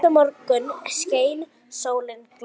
Næsta morgun skein sólin glatt.